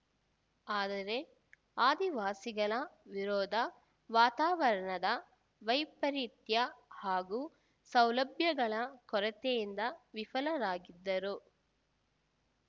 ಆದರೆ ಆದಿವಾಸಿಗಳ ವಿರೋಧ ವಾತಾವರಣದ ವೈಪರಿತ್ಯ ಹಾಗೂ ಸೌಲಭ್ಯಗಳ ಕೊರತೆಯಿಂದ ವಿಫಲರಾಗಿದ್ದರು